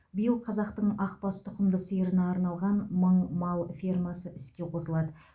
биыл қазақтың ақбас тұқымды сиырына арналған мың мал ферма іске қосылады